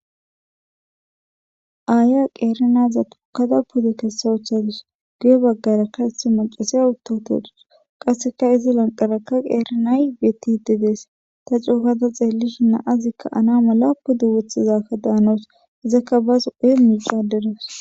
aaya qeerinaza tukkada pude kessawuchadus guye baggara ka heti macasiya uttotodus qasseka izi lanqaraka qeerinay beti dedees ta cuukada xeellishi naazikka ana mala pude wothizakka daanoos izakka baas ee miixaderos